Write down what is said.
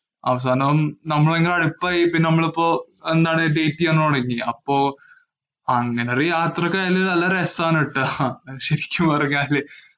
അവസാനം നമ്മള് തമ്മില്‍ അടുപ്പമായി. നമ്മളിപ്പോ എന്താണ date ചെയ്യാന്‍ തുടങ്ങി. അപ്പൊ അങ്ങനെ യാത്രയ്ക്കിടയില്‍ നല്ല രസമാണ് കേട്ടാ. ശരിക്കും പറഞ്ഞാല്.